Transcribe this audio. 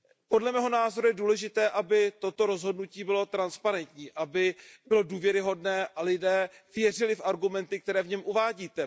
Podle mého názoru je důležité, aby toto rozhodnutí bylo transparentní, aby bylo důvěryhodné a lidé věřili v argumenty, které v něm uvádíte.